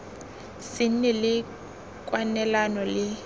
se nne le kwalelano le